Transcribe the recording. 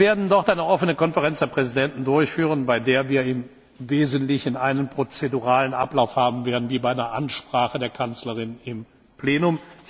Wir werden dort eine offene Konferenz der Präsidenten abhalten, bei der wir im Wesentlichen einen prozeduralen Ablauf haben werden wie bei einer Ansprache der Kanzlerin im Plenum.